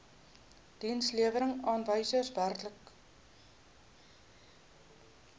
dienslewerings aanwysers werklike